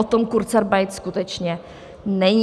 O tom kurzarbeit skutečně není.